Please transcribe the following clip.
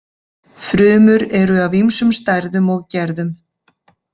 Frumur eru af ýmsum stærðum og gerðum.